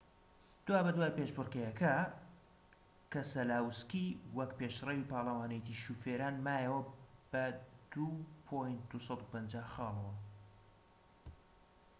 دوابەدوای پێشبڕكێکە، کەسەلاوسکی وەکو پێشرەوی پاڵەوانێتی شۆفێران مایەوە بە ٢،٢٥٠ خاڵەوە